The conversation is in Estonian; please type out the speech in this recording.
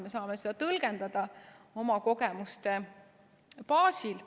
Me saame seda tõlgendada oma kogemuste baasil.